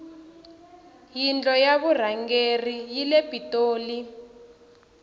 yindlo ya vurhangeri yile pitoli